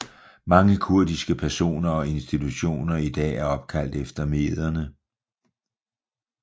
Mange kurdiske personer og institutioner i dag er opkaldt efter mederne